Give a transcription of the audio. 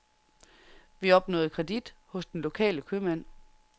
Vi opnåede kredit hos den lokale købmand.